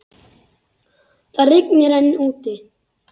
Það rigndi enn úti.